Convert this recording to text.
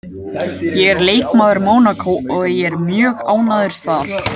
Ég er leikmaður Mónakó og ég er mjög ánægður þar